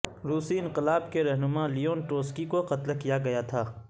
روسی انقلاب کے رہنما لیون ٹروٹسوکی کو قتل کیا گیا تھا